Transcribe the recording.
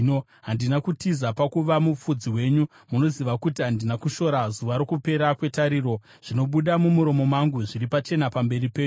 Handina kutiza pakuva mufudzi wenyu; munoziva kuti handina kushora zuva rokupera kwetariro. Zvinobuda mumuromo mangu zviri pachena pamberi penyu.